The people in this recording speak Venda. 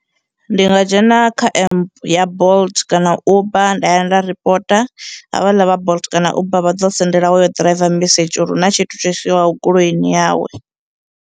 Ndi nga dzhena kha emp ya Bolt kana Uber nda ya nda ripota, havhaḽa vha Bolt kana Uber vha ḓo sendela hoyo ḓiraiva mesedzhi uri huna tshithu tsho salaho goloini yawe.